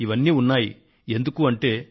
ఇదంతా నువ్వు అక్కడ ఉన్నందువల్లే